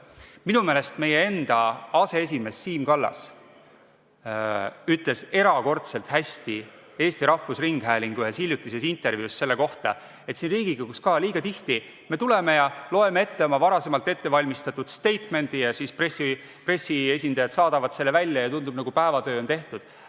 Minu meelest meie enda aseesimees Siim Kallas ütles erakordselt hästi Eesti Rahvusringhäälingu ühes hiljutises intervjuus selle kohta, et siin Riigikogus ka liiga tihti me tuleme ja loeme ette oma varasemalt ettevalmistatud statement'i ja siis pressiesindajad saadavad selle välja ja tundub, nagu päevatöö oleks tehtud.